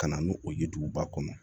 Ka na n'o ye duguba kɔnɔ